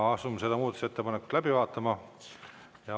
Asume seda muudatusettepanekut läbi vaatama.